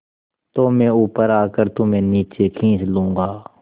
तो मैं ऊपर आकर तुम्हें नीचे खींच लूँगा